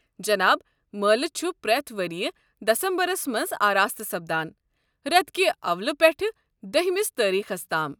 جناب مٲلہٕ چھُ پرٮ۪تھ ؤرِیہِ دسمبرَس مَنٛز آراستہٕ سپدان ، رٮ۪تہٕ کِہ اولہٕ پٮ۪ٹھہٕ دہمِس تٲریٖخَس تام ۔